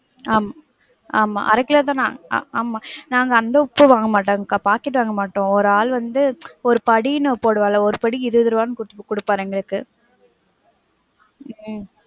ஆம் ஆமா அர கிலோ தான் நான் ஆஹ் ஆமா நாங்க அந்த உப்பே வாங்க மாட்டோம்க்கா, packet வாங்க மாட்டோம். ஒரு ஆள் வந்து ஒரு படின்னு போடுவாருல, ஒரு படி இருபது ருபாய்ன்னு குடுப்பாரு எங்களுக்கு. உம்